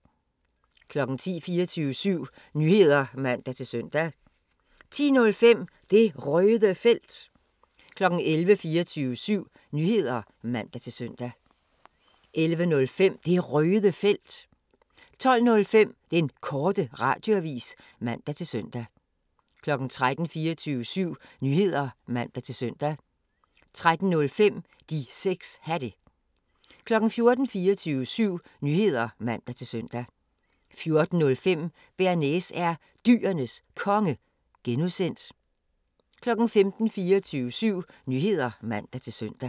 10:00: 24syv Nyheder (man-søn) 10:05: Det Røde Felt 11:00: 24syv Nyheder (man-søn) 11:05: Det Røde Felt 12:05: Den Korte Radioavis (man-fre) 13:00: 24syv Nyheder (man-søn) 13:05: De 6 Hatte 14:00: 24syv Nyheder (man-søn) 14:05: Bearnaise er Dyrenes Konge (G) 15:00: 24syv Nyheder (man-søn)